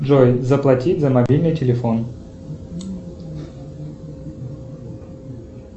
джой заплатить за мобильный телефон